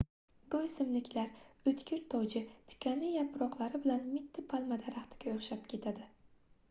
bu oʻsimliklar oʻtkir toji tikanli yaproqlari bilan mitti palma daraxtiga oʻxshab ketadi